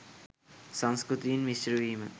සංස්කෘතීන් මිශ්‍රවීම